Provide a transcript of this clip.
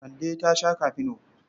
Kande ta sha kafino.